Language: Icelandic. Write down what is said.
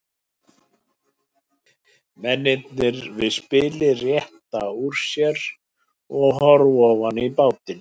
Mennirnir við spilið rétta úr sér og horfa ofan í bátinn.